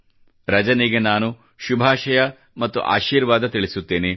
ರಜನಿಗೆ ನಾನು ಶುಭಾಷಯ ಮತ್ತು ಆಶೀರ್ವಾದ ತಿಳಿಸುತ್ತೇನೆ